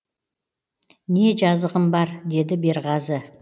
не жазығым бар деді берғазы